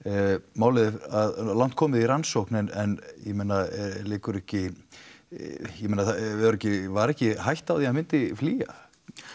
málið er langt komið í rannsókn en ég meina liggur ekki ég meina var ekki var ekki hætta á því að hann myndi flýja